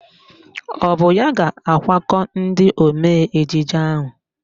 Ọ bụ ya ga-akwakọ ndị omee ejije ahụ?